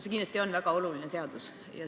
See kindlasti on väga oluline seadus.